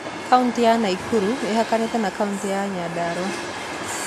kauti ya Naikuru ĩhakanĩte na kautĩ ya Nyandarũa